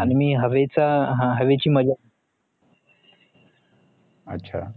आणि मी हवेचा अं हवेची मजा